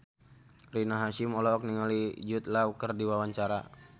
Rina Hasyim olohok ningali Jude Law keur diwawancara